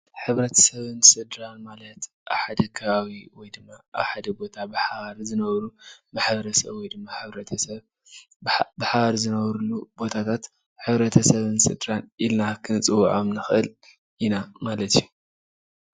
ሕብረተሰብን ስድራን ማለት ኣብ ሓደ ከባቢ ወይ ድማ ኣብ ሓደ ቦታ ብሓባር ዝነብሩ ማሕበረሰብ ወይ ድማ ሕብረተሰብ ብሓባር ዝነብሩሉ ቦታታት ሕብረተሰብን ስድራን ኢልና ክንፅዉዖም ንኽእል ኢና ማለት እዪ ።